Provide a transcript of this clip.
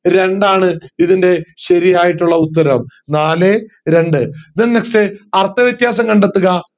രണ്ടാണ് ഇതിൻറെ ശരിയായിട്ടുള്ള ഉത്തരം നാലേ രണ്ട് then next അർത്ഥവ്യത്യാസം കണ്ടെത്തുക